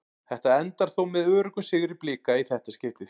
Þetta endar þó með öruggum sigri Blika í þetta skiptið.